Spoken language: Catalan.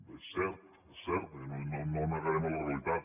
és cert és cert no negarem la realitat